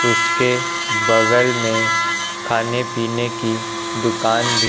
उसके बगल में खाने पीने की दुकान भी--